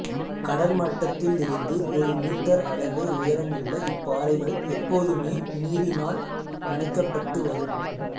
கடற்மட்டத்திலிருந்து ஒரு மீட்டர் அளவே உயரமுள்ள இப்பாறைகள் எப்போதுமே நீரினால் நனைக்கப்பட்டு வரும்